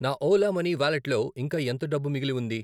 నా Ola money వాలెట్లో ఇంకా ఎంత డబ్బు మిగిలి ఉంది?